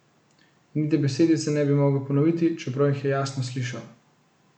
Niti besedice ne bi mogel ponoviti, čeprav jih je jasno slišal.